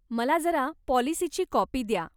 मला जरा पाॅलिसीची काॅपी द्या.